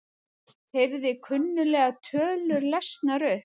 Heyrði kunnuglegar tölur lesnar upp